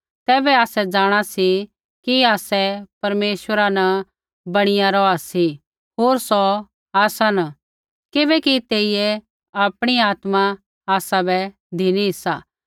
तैबै आसै जाँणा सी कि आसै परमेश्वरा न बणिया रौहा सी होर सौ आसा न किबैकि तेइयै आपणी आत्मा आसाबै धिनी सा